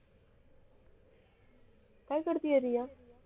काय करते आहे रिया